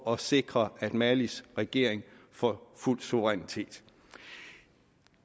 og sikre at malis regering får fuld suverænitet